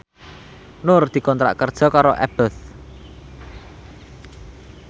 Nur dikontrak kerja karo Abboth